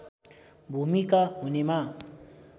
भूमिका हुनेमा